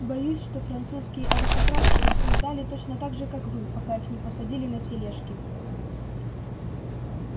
боюсь что французские аристократки рассуждали точно так же как вы пока их не посадили на тележки